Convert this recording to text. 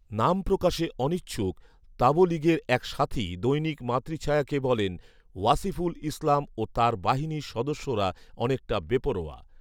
নাম প্রকাশে অনিচ্ছুক তাবলীগের এক সাথী দৈনিক মাতৃছায়াকে বলেন, ওয়াসিফুল ইসলাম ও তার বাহিনীর সদস্যরা অনেকটা বেপরোয়া